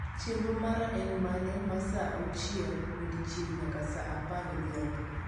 chenro mara en mane maa saa uachiel odiechieng nyaka saa apar odhiambo